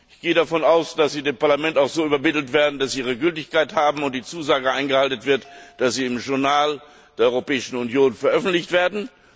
Ich gehe davon aus, dass sie dem Parlament auch so übermittelt werden, dass sie ihre Gültigkeit haben, und die Zusage eingehalten wird, dass sie im Amtsblatt der Europäischen Union veröffentlicht werden.